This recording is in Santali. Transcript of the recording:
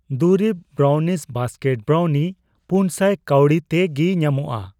ᱫᱩᱨᱤᱵ ᱵᱨᱟᱣᱱᱤᱥ ᱵᱟᱥᱠᱮᱴ ᱵᱨᱟᱩᱱᱤ 400 ᱠᱟᱹᱣᱰᱤ ᱛᱮ ᱜᱤ ᱧᱟᱢᱚᱜᱼᱟ ?